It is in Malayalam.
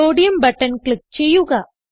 സോഡിയം ബട്ടൺ ക്ലിക്ക് ചെയ്യുക